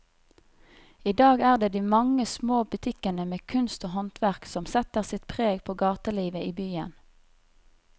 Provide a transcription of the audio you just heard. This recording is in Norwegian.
I dag er det de mange små butikkene med kunst og håndverk som setter sitt preg på gatelivet i byen.